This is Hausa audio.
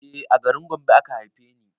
E a garin Gombe aka haife ni